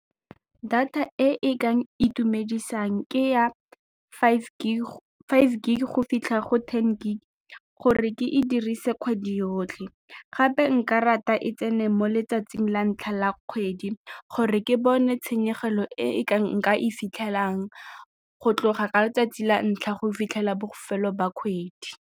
Data e e ka itumedisang ke ya five gig go fitlha go ten gig gore ke e dirise kgwedi yotlhe gape nkare data e tsene mo letsatsing la ntlha la kgwedi gore ke bone tshenyegelo e nka e fitlhelang go tloga ka letsatsi la ntlha go fitlhela bofelo ba kgwedi.